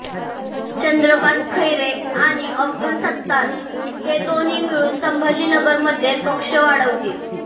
चंद्रकांत खैरे आणि अब्दुल सत्तार हे दोन्ही मिळून संभाजीनगरमध्ये पक्ष वाढवतील